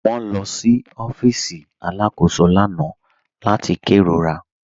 Wọn lọ sí ọ̀fíìsì alákòsó lána láti kẹrórà.